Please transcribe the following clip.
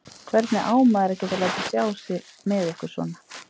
Hvernig á maður að geta látið sjá sig með ykkur svona?